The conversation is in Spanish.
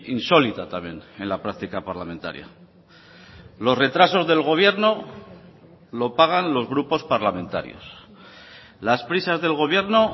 insólita también en la práctica parlamentaria los retrasos del gobierno lo pagan los grupos parlamentarios las prisas del gobierno